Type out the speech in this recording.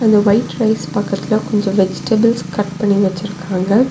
இந்த white rice பக்கத்துல கொஞ்ச வெஜிடபிள்ஸ் கட் பண்ணி வச்சிருக்காங்க.